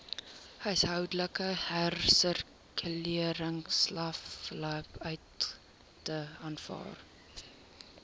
huishoudelike hersirkuleringsaflaaipunte aanvaar